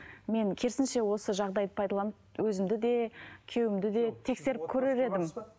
мен керісінше осы жағдайды пайдаланып өзімді де күйеуімді де тексеріп көрер едім